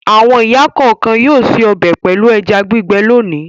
Àwọn ìyá kọ̀ọ̀kan yóò se ọbẹ̀ pẹ̀lú ẹja gbígbẹ́ lónìí.